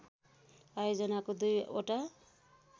आयोजनाको दुई ओटा